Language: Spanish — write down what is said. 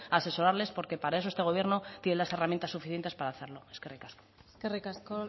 a asesorarles porque para eso este gobierno tiene las herramientas suficientes para hacerlo eskerrik asko eskerrik asko